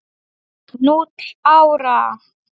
Núll ára!